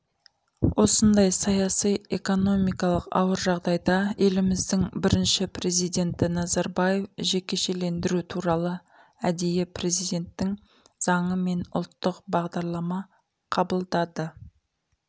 осындай саяси экономикалық ауыр жағдайда еліміздің бірінші президенті назарбаев жекешелендіру туралы әдейі президенттің заңы мен ұлттық бағдарлама қабылдады